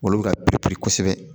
Olu bɛ ka peri kosɛbɛ